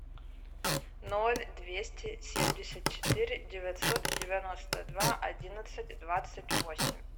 ноль двести семьдесят четыре девятьсот девяносто два одиннадцать двадцать восемь